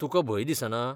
तुकां भंय दिसना?